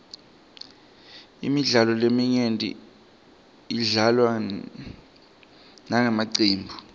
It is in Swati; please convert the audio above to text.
imidlalo leminyenti idlalwa ngemacembu